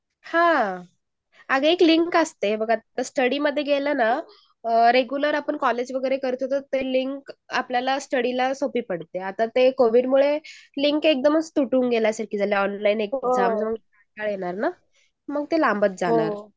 हान. आग एक लिंक असते रेगुलर आपण एक कॉलेज वगैरे करतो ते. ती लिंक आपल्याला स्टडी ला सोपी पडते. पण ती लिंक आता कोविडमुळे तुलून पडणार ना मग ती तुटून पडणार